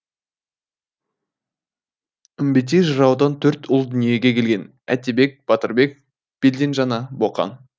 үмбетей жыраудан төрт ұл дүниеге келген әтебек батырбек белденжана боқан